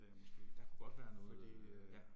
Der kunne godt være noget øh ja